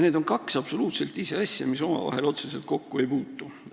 Need on absoluutselt kaks ise asja, mis omavahel otseselt kokku ei puutu.